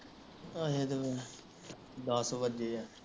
ਦੱਸ ਵੱਜੇ ਆ